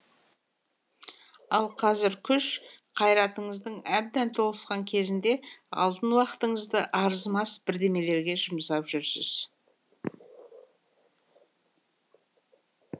ал қазір күш қайратыңыздың әбден толысқан кезінде алтын уақытыңызды арзымас бірдемелерге жұмсап жүрсіз